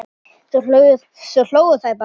Svo hlógu þeir bara.